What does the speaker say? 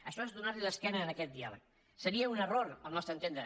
això és donar l’esquena a aquest diàleg seria un error al nostre entendre